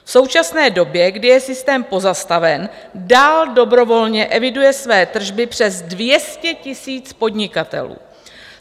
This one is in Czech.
V současné době, kdy je systém pozastaven, dál dobrovolně eviduje své tržby přes 200 tisíc podnikatelů.